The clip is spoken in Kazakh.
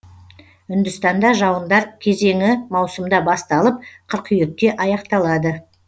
үндістанда жауындар кезеңі маусымда басталып қыркүйекте аяқталады